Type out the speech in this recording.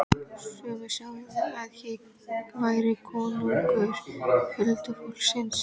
Sumir segðu að hér væri konungur huldufólksins.